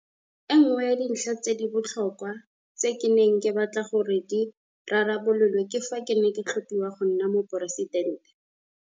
E nngwe ya dintlha tse di botlhokwa tse ke neng ke batla gore di rarabololwe fa ke ne ke tlhophiwa go nna Moporesidente.